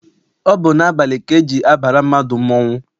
Ọ bụ n'abalị ka eji abara mmadụ mmọnwụ.